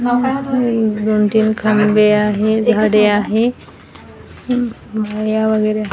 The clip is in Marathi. हे दोन तीन खांबे आहे झाडे आहे पायऱ्या वगैरे --